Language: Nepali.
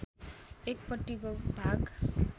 एकपट्टिको भाग